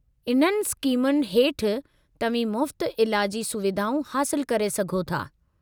इन्हनि स्कीमुनि हेठि तव्हीं मुफ़्त इलाजी सुविधाऊं हासिलु करे सघो था।